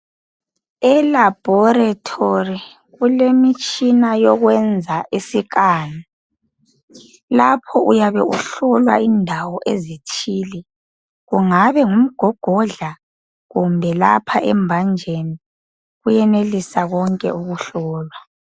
Elabhorethori kulemitshina yokwenza isikani lapho uyabe uhlolwa indawo ezithile, kungabe ngumgogodla kumbe embanjeni kuyenelisa konke ukuhlolwa.